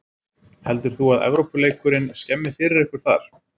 Heldur þú að Evrópuleikurinn skemmi fyrir ykkur þar?